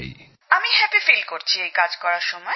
শিরিষাঃ আমার খুব ভালো লাগে এই কাজ করার সময়